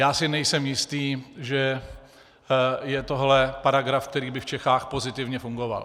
Já si nejsem jistý, že je tohle paragraf, který by v Čechách pozitivně fungoval.